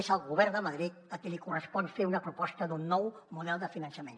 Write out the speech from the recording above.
és al govern de madrid a qui li correspon fer una proposta d’un nou model de finançament